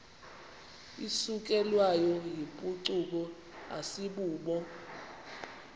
isukelwayo yimpucuko asibubo